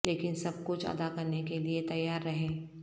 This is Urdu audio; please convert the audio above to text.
لیکن سب کچھ ادا کرنے کے لئے تیار رہیں